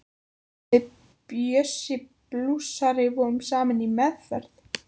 Við Bjössi blúsari vorum saman í meðferð.